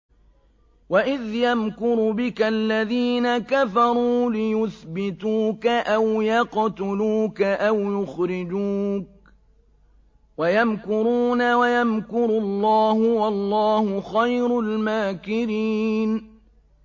وَإِذْ يَمْكُرُ بِكَ الَّذِينَ كَفَرُوا لِيُثْبِتُوكَ أَوْ يَقْتُلُوكَ أَوْ يُخْرِجُوكَ ۚ وَيَمْكُرُونَ وَيَمْكُرُ اللَّهُ ۖ وَاللَّهُ خَيْرُ الْمَاكِرِينَ